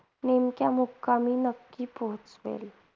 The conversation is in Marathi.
नेमक्या मुक्कामी नक्की पोहचवेल.